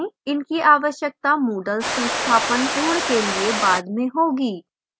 इनकी आवश्यकता moodle संस्थापन पूर्ण के लिए बाद में होगी